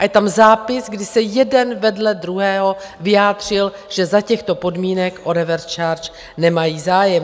A je tam zápis, kdy se jeden vedle druhého vyjádřil, že za těchto podmínek o reverse charge nemají zájem.